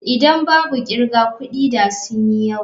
Idan babu kirga kudi da sun yi yawa.